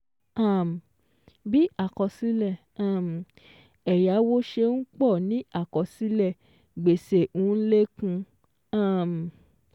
um Bí àkọsílẹ̀ um ẹ̀yáwó ṣe n pọ̀ ni àkọsílẹ̀ gbèsè n lékún um